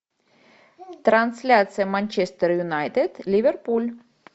трансляция манчестер юнайтед ливерпуль